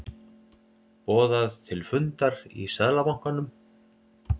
Boðað til fundar í Seðlabankanum